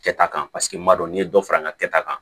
Kɛta kan paseke n b'a dɔn n'i ye dɔ fara n ka kɛta kan